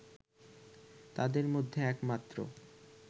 তাদের মধ্যে একমাত্র